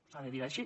s’ha de dir així